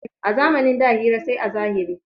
A zamanin da hira sai a zahiri.